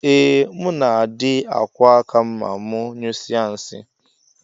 Ee muna adi akwọ akam ma mu nyụsie nsi.